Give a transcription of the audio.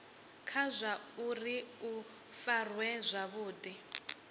kha zwauri u farwa zwavhudi